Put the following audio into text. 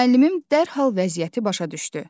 Müəllimim dərhal vəziyyəti başa düşdü.